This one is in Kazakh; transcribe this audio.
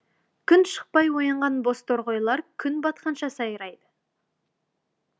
күн шықпай оянған бозторғайлар күн батқанша сайрайды